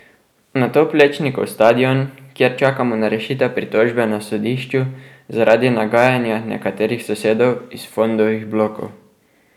Nato Plečnikov stadion, kjer čakamo na rešitev pritožbe na sodišču zaradi nagajanja nekaterih sosedov iz Fondovih blokov.